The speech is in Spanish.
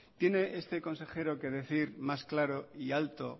tiene este consejero que decir más claro y alto